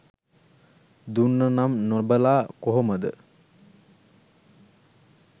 දුන්න නම් නොබලා කොහොමද.